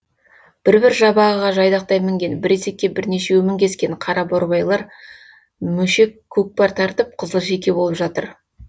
бір бір жабағыға жайдақтай мінген бір есекке бірнешеуі мінгескен қараборбайлар мөшек көкпар тартып қызылшеке болып жатыр